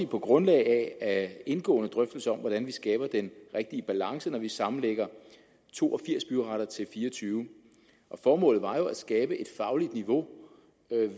på grundlag af indgående drøftelse af hvordan vi skaber den rigtige balance når vi sammenlægger to og firs byretter til fireogtyvende formålet var jo at skabe et fagligt niveau